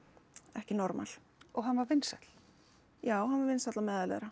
ekki normal og hann var vinsæll já hann var vinsæll á meðal þeirra